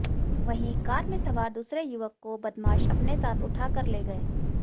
वहीं कार में सवार दूसरे युवक को बदमाश अपने साथ उठा कर ले गए